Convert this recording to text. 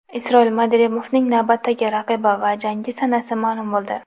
Isroil Madrimovning navbatdagi raqibi va jangi sanasi ma’lum bo‘ldi.